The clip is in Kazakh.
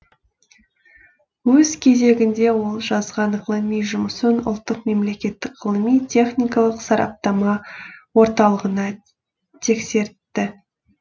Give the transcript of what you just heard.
өз кезегінде ол жазған ғылыми жұмысын ұлттық мемлекеттік ғылыми техникалық сараптама орталығына тексертті